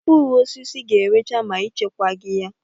Mkpụrụosisi ga-erecha ma echekwa gi ha.